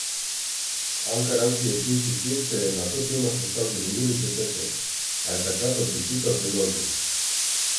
Ankaranski občinski svet se je na to temo sestal že minuli četrtek, a je takrat odločitev preložil.